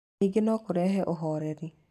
Ningĩ no kũrehe ũhoreri.